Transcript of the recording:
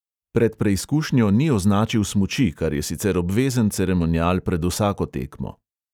Pred preizkušnjo ni označil smuči, kar je sicer obvezen ceremonial pred vsako tekmo.